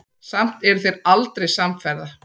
Samt eru þeir aldrei samferða.